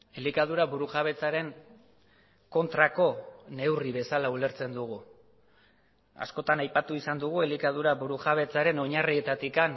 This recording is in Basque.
elikadura burujabetzaren kontrako neurri bezala ulertzen dugu askotan aipatu izan dugu elikadura burujabetzaren oinarrietatik